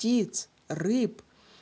птиц рыб